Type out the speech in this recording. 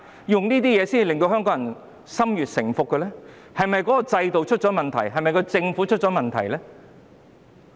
用這些方法迫使香港人順服，究竟是制度出了問題，還是政府出了問題？